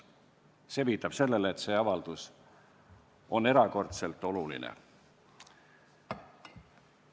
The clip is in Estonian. See viitab sellele, et see avaldus on erakordselt oluline.